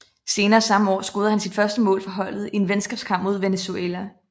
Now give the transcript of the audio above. Senere samme år scorede han sit første mål for holdet i en venskabskamp mod Venezuela